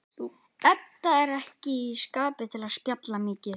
Edda er ekki í skapi til að spjalla mikið.